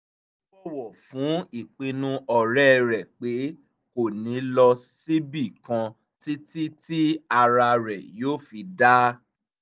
ó bọ̀wọ̀ fún ìpinnu ọ̀rẹ́ rẹ̀ pé kò ní lọ síbi kan títí tí ara rẹ̀ yóò fi dáa